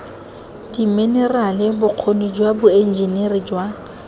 diminerale bokgoni jwa boenjiniri jwa